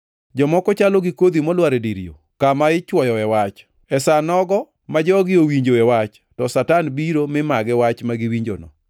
Jomoko chalo gi kodhi molwar e dir yo, kama ichwoyoe Wach. E sa nogo ma jogi owinjoe Wach to Satan biro mi magi Wach ma giwinjono.